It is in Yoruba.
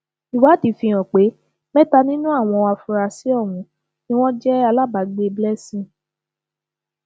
ìwádìí fíhàn pé mẹta nínú àwọn afurasí ọhún ni wọn jẹ alábàágbé cs] blessing